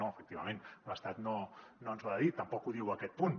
no efectivament l’estat no ens ho ha de dir tampoc ho diu aquest punt